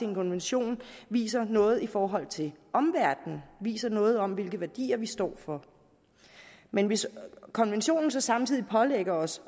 en konvention viser noget i forhold til omverdenen viser noget om hvilke værdier vi står for men hvis konventionen så samtidig pålægger os